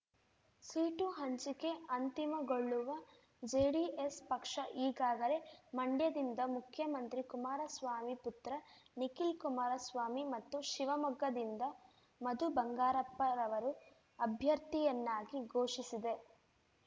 seat ಹಂಚಿಕೆ ಅಂತಿಮಗೊಳ್ಳುವ ಜೆಡಿಎಸ್ ಪಕ್ಷ ಈಗಾಗಲೇ ಮಂಡ್ಯದಿಂದ ಮುಖ್ಯಮಂತ್ರಿ ಕುಮಾರಸ್ವಾಮಿ ಪುತ್ರ ನಿಖಿಲ್ ಕುಮಾರಸ್ವಾಮಿ ಮತ್ತು ಶಿವಮೊಗ್ಗದಿಂದ ಮಧು ಬಂಗಾರಪ್ಪರವರು ಅಭ್ಯರ್ಥಿಯನ್ನಾಗಿ ಘೋಷಿಸಿದೆ